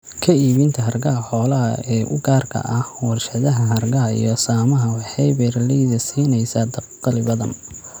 Ka iibinta hargaha xoolaha ee u gaarka ah warshadaha hargaha iyo saamaha, waxay beeralayda siinaysaa dakhli badan.